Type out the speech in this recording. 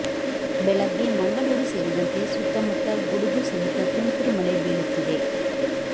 ಬೆಳಗ್ಗೆ ಮಂಗಳೂರು ಸೇರಿದಂತೆ ಸುತ್ತಮುತ್ತ ಗುಡುಗು ಸಹಿತ ತುಂತುರು ಮಳೆ ಬೀಳುತ್ತಿದೆ